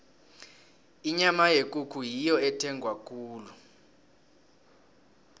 inyama yekukhu ngiyo ethengwa khulu